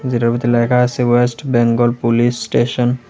হেটার ভিতর লেখা আছে ওয়েস্ট বেঙ্গল পুলিশ স্টেশন ।